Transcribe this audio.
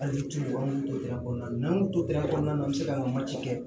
Hali tubabuya kɔnɔna na n'an tora kɔnɔna na an bɛ se ka mati kɛ